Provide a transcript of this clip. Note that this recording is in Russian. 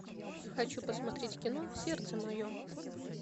хочу посмотреть кино сердце мое